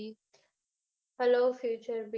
hellofutureb